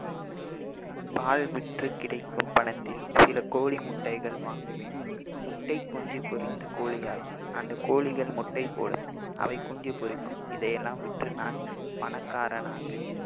பால் விற்று கிடைக்கும் பணத்தில் சில கோழி முட்டைகள் வாங்குவேன் முட்டை குஞ்சு பொரிந்து கோழியாகும் அந்த கோழிகள் முட்டை போடும் அவை குஞ்சு பொரிக்கும் இதையெல்லாம் விற்று நான் பணக்காரனாவேன்